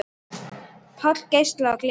Páll geislar af gleði.